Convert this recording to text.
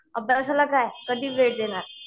अभ्यासाला काय कधी वेळ देणार?